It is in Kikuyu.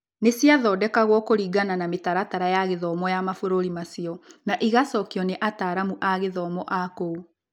Nĩ ciathondekagwo kũringana na mĩtaratara ya gĩthomo ya mabũrũri macio, na igacokio nĩ ataaramu a gĩthomo a kũu.